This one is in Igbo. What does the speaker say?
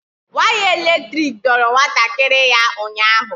Waya elektrik doro nwatakịrị ya ụnyaahụ